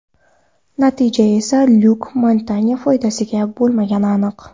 Natija esa Lyuk Montanye foydasiga bo‘lmagani aniq.